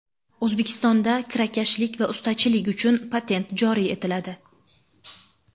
O‘zbekistonda kirakashlik va ustachilik uchun patent joriy etiladi.